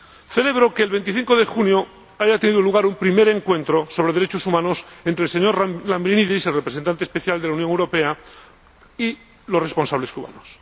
Celebro que el 25 de junio haya tenido lugar un primer encuentro sobre derechos humanos entre el señor Lambrinidis, el Representante Especial de la Unión Europea, y los responsables cubanos.